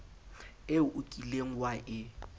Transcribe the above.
eo o kileng wa e